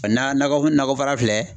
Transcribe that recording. nakɔ nakɔ baara filɛ